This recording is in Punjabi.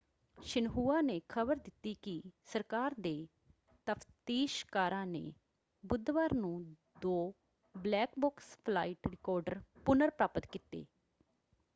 ਸ਼ਿਨਹੁਆ ਨੇ ਖ਼ਬਰ ਦਿੱਤੀ ਕਿ ਸਰਕਾਰ ਦੇ ਤਫ਼ਤੀਸ਼ਕਾਰਾਂ ਨੇ ਬੁੱਧਵਾਰ ਨੂੰ ਦੋ ‘ਬਲੈਕ ਬਾਕਸ’ ਫਲਾਈਟ ਰਿਕਾਰਡਰ ਪੁਨਰ-ਪ੍ਰਾਪਤ ਕੀਤੇ।